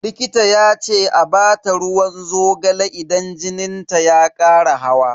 Likita ya ce a bata ruwan zogale idan jinin ta ya kara hawa.